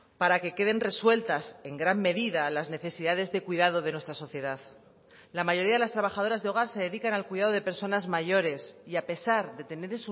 para que queden resueltas en gran medida las necesidades de cuidado de nuestra sociedad la mayoría de las trabajadoras de hogar se dedican al cuidado de personas mayores y a pesar de tener